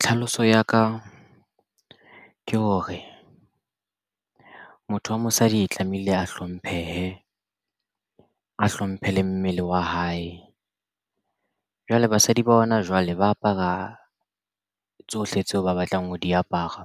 Tlhaloso ya ka ke hore motho wa mosadi tlamehile a hlomphehe a hlomphe le mmele wa hae. Jwale basadi ba hona jwale ba apara tsohle tseo ba batlang ho di apara